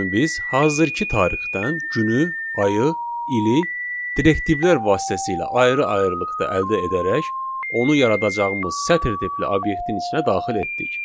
biz hazırki tarixdən günü, ayı, ili direktivlər vasitəsilə ayrı-ayrılıqda əldə edərək onu yaradacağımız sətr tipli obyektin içinə daxil etdik.